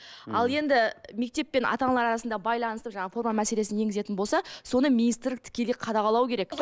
ал енді мектеп пен ата аналар арасындағы байланысты жаңа форма мәселесін енгізетін болса соны министр тікелей қадағалау керек